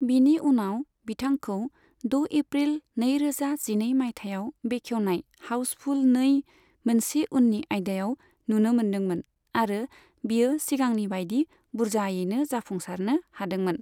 बिनि उनाव बिथांखौ द' एप्रिल नैरोजा जिनै माइथायाव बेखेवनाय हाउसफुल नै, मोनसे उननि आइदायाव नुनो मोनदोंमोन आरो बियो सिगांनि बाइदि बुरजायैनो जाफुंसारनो हादोंमोन।